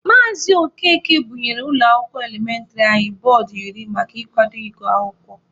Maazị Okeke bunyere ụlọ akwụkwọ elementịrị anyị bọọdụ iri maka ikwado ịgụ akwụkwọ.